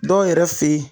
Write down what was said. Dɔw yɛrɛ fe ye